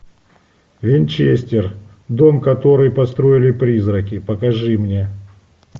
винчестер дом который построили призраки покажи мне